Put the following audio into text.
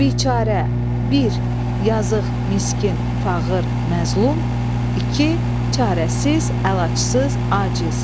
Biçarə, bir, yazıq, miskin, fağır, məzlum, iki, çarəsiz, əlacsız, aciz.